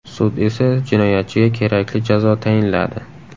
Sud esa jinoyatchiga kerakli jazo tayinladi.